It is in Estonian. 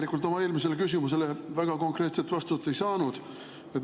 Leo, ma oma eelmisele küsimusele väga konkreetset vastust ei saanud.